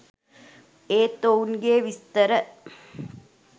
ඒත් ඔවුන්ගේ විස්තර